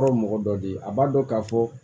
Kɔrɔ mɔgɔ dɔ de a b'a dɔn k'a fɔ